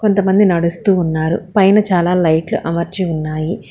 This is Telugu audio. కొంతమంది నడుస్తూ ఉన్నారు పైన చాలా లైట్లు అమర్చి ఉన్నాయి.